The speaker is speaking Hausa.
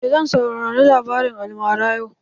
Eh zan saurari labarin almaran yau.